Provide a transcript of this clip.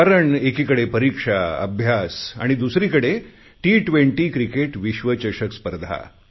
कारण एकीकडे परीक्षा अभ्यास आणि दुसरीकडे टी20 क्रिकेट विश्वचषक स्पर्धा